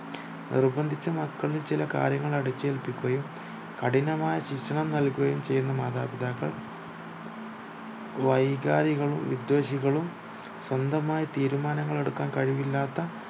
നിർബന്ധിച്ചു മക്കളിൽ ചില കാര്യങ്ങൾ അടിച്ചേല്പിക്കുകയും കഠിനമായ ശിക്ഷണം നൽകുകയും ചെയ്യുന്ന മാതാപിതാക്കൾ വൈകാരികളും വിധ്വെഷികളും സ്വന്തമായി തീരുമാനങ്ങൾ എടുക്കാൻ കഴിവില്ലത്ത